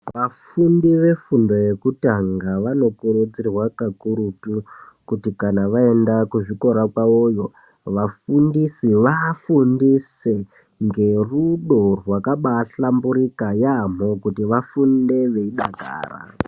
Vafundi vefundo yekutanga vanokurudzirwa kakurutu, kuti kana vaenda kuzvikora kwavoyo ,vafundisi vaafundise ngerudo rwakabaahlamburika yaamho, kuti vafunde veidakara.